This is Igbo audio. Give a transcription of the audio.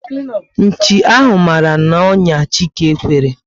Nchi ahụ mara na onya Chike kwere